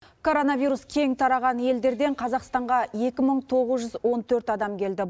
коронавирус кең тараған елдерден қазақстанға екі мың тоғыз жүз он төрт адам келді